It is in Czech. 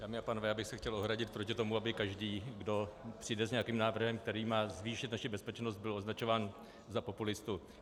Dámy a pánové, já bych se chtěl ohradit proti tomu, aby každý, kdo přijde s nějakým návrhem, který má zvýšit naši bezpečnost, byl označován za populistu.